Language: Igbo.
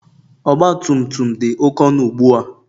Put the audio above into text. Ọgbatumtum dị oké ọnụ ugbua